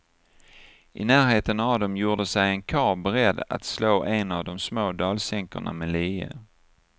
I närheten av dem gjorde sig en karl beredd att slå en av de små dalsänkorna med lie.